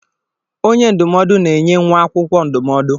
Onye ndụmọdụ na-enye nwa akwụkwọ ndụmọdụ.